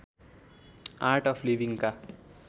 art of लिविङका